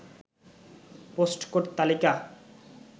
post code তালিকা